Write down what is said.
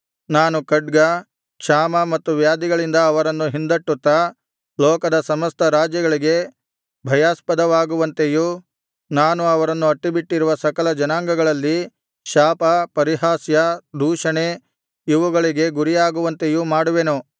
ನಾನು ಖಡ್ಗ ಕ್ಷಾಮ ಮತ್ತು ವ್ಯಾಧಿಗಳಿಂದ ಅವರನ್ನು ಹಿಂದಟ್ಟುತ್ತಾ ಲೋಕದ ಸಮಸ್ತ ರಾಜ್ಯಗಳಿಗೆ ಭಯಾಸ್ಪದವಾಗುವಂತೆಯೂ ನಾನು ಅವರನ್ನು ಅಟ್ಟಿಬಿಟ್ಟಿರುವ ಸಕಲ ಜನಾಂಗಗಳಲ್ಲಿ ಶಾಪ ಪರಿಹಾಸ್ಯ ದೂಷಣೆ ಇವುಗಳಿಗೆ ಗುರಿಯಾಗುವಂತೆಯೂ ಮಾಡುವೆನು